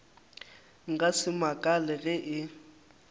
nka se makale ge e